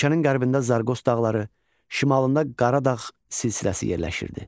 Ölkənin qərbində Zarqos dağları, şimalında Qaradağ silsiləsi yerləşirdi.